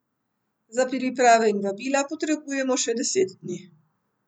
Za priprave in vabila potrebujemo še deset dni.